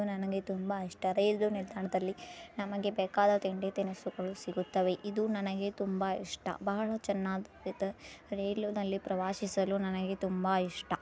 ಇದು ನನಗೆ ತುಂಬಾ ಇಷ್ಟ ರೈಲು ನಿಲ್ದಾಣದಲ್ಲಿ ನಮಗೆ ಬೆಕದ ತಿಂಡಿ ತಿನುಸುಗಳು ಸಿಗುತ್ತವೆ ಇದು ನನಗೆ ತುಂಬಾ ಇಸ್ಟ ಬಹಳ ಚೆನ್ನಗಿ ರಲ್ಲುನಲ್ಲಿ ಪ್ರವಾಸಿಸಲು ನನಗೆ ತುಂಬಾ ಇಸ್ಟ .